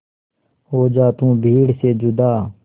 हो जा तू भीड़ से जुदा